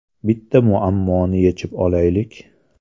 Bitta muammoni yechib olaylik.